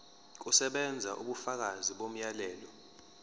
kusebenza ubufakazi bomyalelo